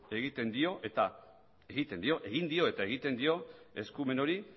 egin dio eta egiten dio eskumen hori